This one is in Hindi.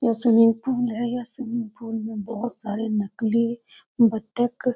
यह स्विमिंग पूल है इस स्विमिंग पूल में बहुत सारे नकली बत्तख --